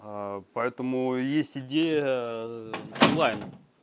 поэтому есть идея онлайн